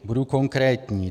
Budu konkrétní.